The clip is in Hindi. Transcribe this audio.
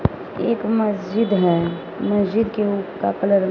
एक मस्जिद है मस्जिद के उप का कलर --